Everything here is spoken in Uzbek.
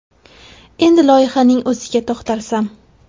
Endi loyihaning o‘ziga to‘xtalsam.